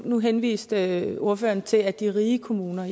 nu henviste ordføreren til de rige kommuner og